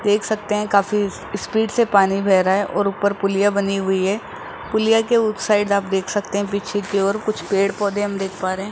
देख सकते हैं काफी स्पीड से पानी बह रहा है और ऊपर पुलिया बनी हुई है पुलिया के उस साइड आप देख सकते हैं पीछे की और कुछ पेड़ पौधे हम देख पा रहे हैं।